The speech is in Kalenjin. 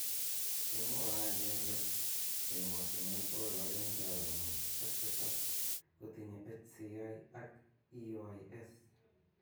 Kemwaei kele emotonwek bokol agenge ak konom ak tisab kotinye HCI ak EYS.